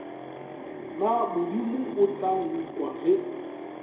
na modimo tla nkwa ge